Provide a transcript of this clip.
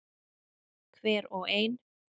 Hver og ein.